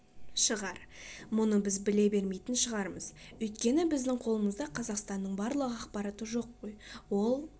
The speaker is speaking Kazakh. шығар мұны біз біле бермейтін шығармыз өйткені біздің қолымызда қазақстанның барлық ақпараты жоқ қой ол